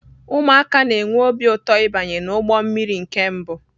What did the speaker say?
Ụmụaka na-enwe obi ụtọ ịbanye n'ụgbọ mmiri nke mbụ